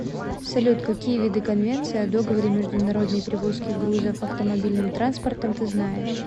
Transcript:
салют какие виды конвенция о договоре международной перевозки грузов автомобильным транспортом ты знаешь